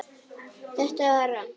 Þetta var rangt.